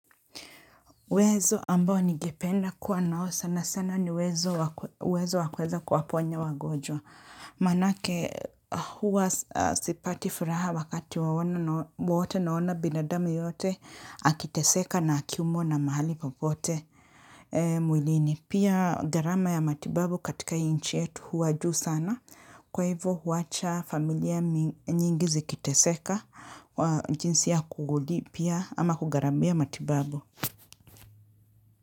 Wezo ambao ningependa kuwa nao sana sana ni wezo wa wezo wa kuweza kuwaponya wagonjwa. Manake huwa sipati furaha wakati waona wote naona binadamu yoyote akiteseka na akiumwa na mahali popote. Mwilini, pia gharama ya matibabu katika nchi yetu huwa juu sana. Kwa hivyo huwacha familia nyingi zikiteseka, jinsi ya kulipia ama kugharamia matibabu.